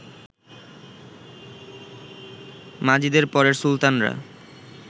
মাজিদের পরের সুলতানরা